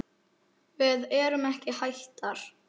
Við erum ekki hættar.